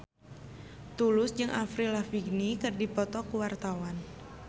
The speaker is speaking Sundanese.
Tulus jeung Avril Lavigne keur dipoto ku wartawan